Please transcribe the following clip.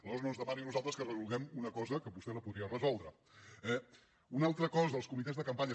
aleshores no ens demani a nosaltres que resolguem una cosa que vostè la podria resoldre eh una altra cosa els comitès de campanya